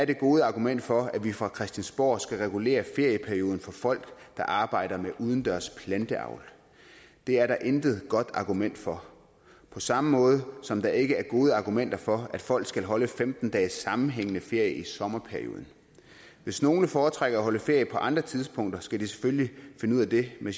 det gode argument for at vi fra christiansborgs side skal regulere ferieperioden for folk der arbejder med udendørs planteavl det er der intet godt argument for på samme måde som der ikke er gode argumenter for at folk skal holde femten dages sammenhængende ferie i sommerperioden hvis nogen foretrækker at holde ferie på andre tidspunkter skal de selvfølgelig finde ud af det med